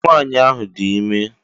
Ee! Nwaanyị ahụ dị ime.